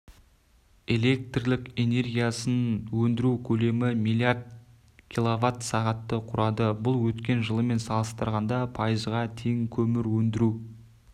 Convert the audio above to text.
электр энергиясын өндіру көлемі миллиард киловатт сағатты құрады бұл өткен жылмен салыстырғанда пайызға тең көмір өндіру